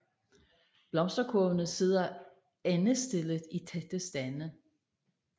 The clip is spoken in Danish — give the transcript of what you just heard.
Blomsterkurvene sidder endestillet i tætte stande